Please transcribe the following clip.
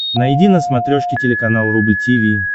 найди на смотрешке телеканал рубль ти ви